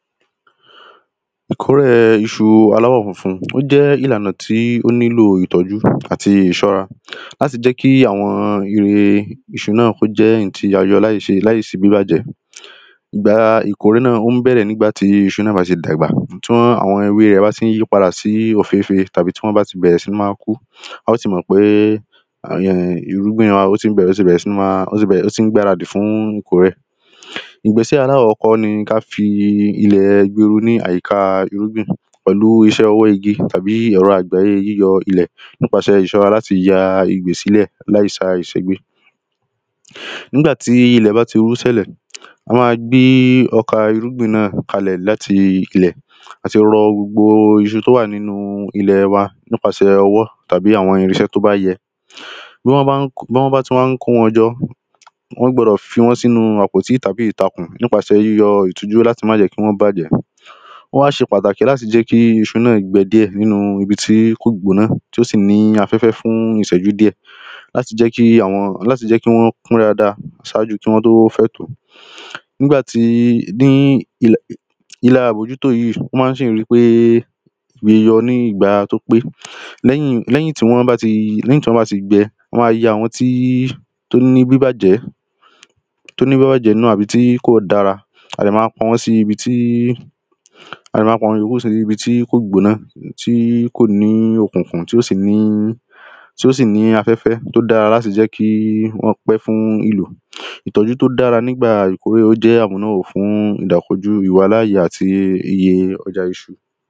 Ìkórè iṣu aláwọ̀funfun Ó jẹ́ ìlànà tí ó nílò ìtọ́jú àti ìṣọ́ra láti jẹ́ kí àwọn èrè iṣu náà kí ó jẹ́ èyí tí a yọ láìṣe láìsí bíbàjẹ́ Ìgbà ìkórè náà ó ń bẹ̀rẹ̀ ní ìgbà tí iṣu náà bá ti dàgbà Ti àwọn ewé rẹ̀ bá ti ń yípadà sí òféfé tàbí tí wọ́n bá ti bẹ̀rẹ̀ sí ní máa kú a óò ti mọ̀ pé um irúgbìn wa ó ti bẹ̀rẹ̀ ó ti bẹ̀rẹ̀ sí ní ma um ó ti ń gbaradì fún ìkórè Ìgbésẹ̀ alákọ́kọ́ ni kí á fi ilẹ̀ ní àyíká irúgbìn pẹ̀lú iṣẹ́ ọwọ́ igi tàbí ẹ̀rọ àgbáyé yíyọ ilẹ̀ nípasẹ̀ ìṣọ́ra láti ya sílẹ̀ láìsí àṣegbé Nígbà ti ilẹ̀ bá ti ṣẹ́lẹ̀ a máa gbé ọkà irúgbìn náà kalẹ̀ láti ilẹ̀ A ti rọ gbogbo iṣu tí ó wà nínú ilẹ̀ wà nípasẹ̀ ọwọ́ tàbí àwọn irinṣẹ́ tí ó bá yẹ Bí wọn bí wọ́n bá ti wá ń kó wọn jọ wọ́n gbọ́dọ̀ fi wọ́n sí inú àpótí tàbí ìtakùn nípasẹ̀ yíyọ láti má jẹ́ kí wọ́n bàjẹ́ Ó wá ṣe pàtàkì láti jẹ́ kí iṣu náà gbẹ díẹ̀ nínú ibi tí kò gbọ̀nà tí ó sì ní afẹ́fẹ́ fún ìṣẹ́jú díẹ̀ Láti jẹ́ kí àwọn láti jẹ́ kí wọ́n pán dáadáa ṣájú kí wọ́n tó fẹ́ tò ó Nígbà tí ní ìla ìlà àbójútó yìí ó ma sì ń ri pé yọ ní ìgbà tí ó pe Lẹ́yìn ni wọ́n bá ti lẹ́yìn tí wọ́n bá ti gbẹ a máa yọ àwọn tí ó ní bíbàjẹ́ tí ó ní bíbàjẹ́ nínú àbí kò dára a dẹ̀ ma pa wọ́n sí ibi tí a dẹ̀ máa pa àwọn ìyókù sí ibi tí kò gbọ̀nà tí kò ní òkùnkùn tí ò sì ní tí ó sì ní afẹ́fẹ́ tí ó dára láti jẹ́ kí wọ́n pé fún ìlò Ìtọ́jú tí ó dára ní ìgbà ìkórè ó jẹ́ fún ìdakojú ìwàláàyè àti iye ọjà iṣu